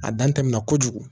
A dan tɛmɛna kojugu